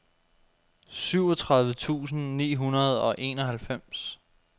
syvogtredive tusind ni hundrede og enoghalvfems